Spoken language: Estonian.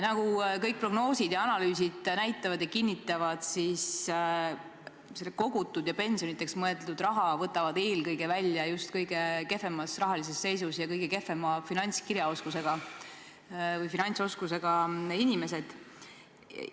Nagu kõik prognoosid ja analüüsid näitavad, võtavad selle kogutud ja pensioniks mõeldud raha eelkõige välja just kõige kehvemas rahalises seisus ja kõige kehvema finantskirjaoskusega inimesed.